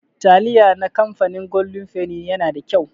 Taliya na kamfanin goldin feni yana da kyau.